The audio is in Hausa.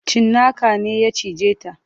Cinnaka ne ya cije ta.